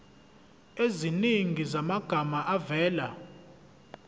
eziningi zamagama avela